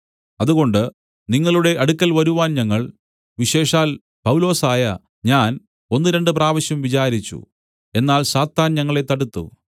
അതുകൊണ്ട് നിങ്ങളുടെ അടുക്കൽ വരുവാൻ ഞങ്ങൾ വിശേഷാൽ പൗലൊസായ ഞാൻ ഒന്ന് രണ്ടുപ്രാവശ്യം വിചാരിച്ചു എന്നാൽ സാത്താൻ ഞങ്ങളെ തടുത്തു